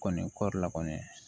Kɔni kɔɔri la kɔni